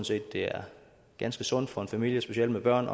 set det er ganske sundt for en familie specielt med børn